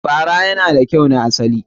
Fara yana da kyau na asali.